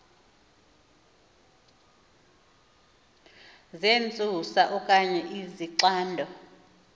zentsusa okanye izixando